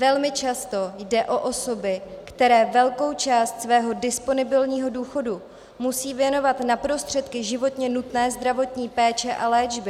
Velmi často jde o osoby, které velkou část svého disponibilního důchodu musí věnovat na prostředky životně nutné zdravotní péče a léčby.